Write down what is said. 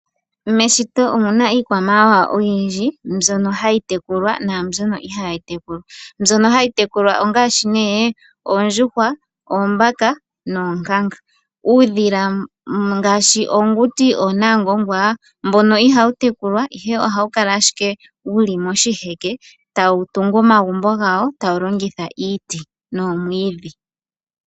Meshito omuna iikwamawawa oyindji mbyono hayi tekulwa naambyono ihaayi tekulwa. Mbyono hayi tekulwa ongaashi nee oondjuhwa, oombaka noonkanga. Uudhila ngaashi oonamungwangwa mbono ihawu tekulwa, ihe ohawu kala ashike wuli moshiheke tawu tungu omagumbo gawo, tawu longitha iiti noomwiidhi.